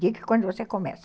Diga quando você começa.